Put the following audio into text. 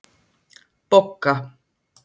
Bogga